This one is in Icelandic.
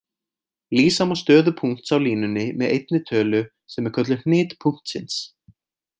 Lýsa má stöðu punkts á línunni með einni tölu sem er kölluð hnit punktsins.